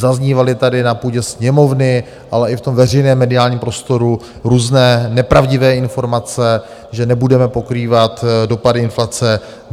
Zaznívaly tady na půdě Sněmovny, ale i v tom veřejném mediálním prostoru různé nepravdivé informace, že nebudeme pokrývat dopady inflace.